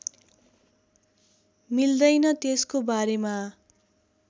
मिल्दैन त्यसको बारेमा